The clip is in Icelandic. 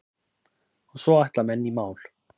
Og svo ætla menn í mál.